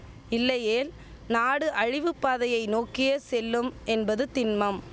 இல்லையேல் நாடு அழிவுப்பாதையை நோக்கியே செல்லும் என்பது திண்மம்